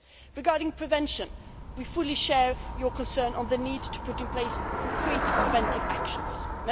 Regarding prevention, we fully share your concern on the need to put in place concrete preventive measures.